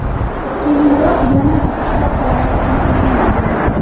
Keyinroq yana ikkita holat aniqlangan.